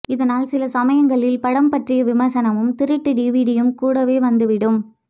இதனால் சில சமயங்களில் படம் பற்றிய விமர்சனமும் திருட்டு டிவிடியும் கூடவே வந்துவிடும்